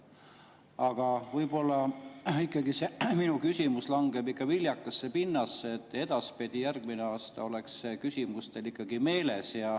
Aga võib-olla ikkagi see mu küsimus langeb viljakasse pinnasesse ja edaspidi, järgmisel aastal oleks see küsimus teil meeles.